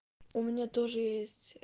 у меня тоже есть